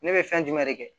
Ne bɛ fɛn jumɛn de kɛ